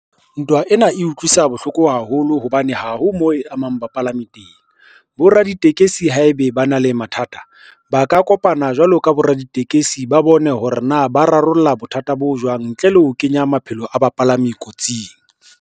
Ntwa ena e utlwisa bohloko haholo hobane ha ho moo e amang bapalami teng. Boraditekesi haebe ba na le mathata, ba ka kopana jwalo ka boraditekesi ba bone hore na ba rarolla bothata bo jwang ntle le ho kenya maphelo a bapalami kotsing.